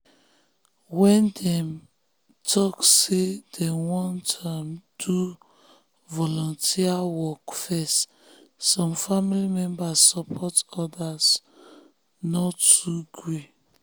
when dem talk say dem wan um do volunteer work first some family um members support others no too gree.